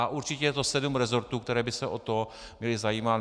A určitě je to sedm resortů, které by se o to měly zajímat.